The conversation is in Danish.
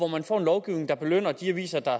man får en lovgivning der belønner de aviser der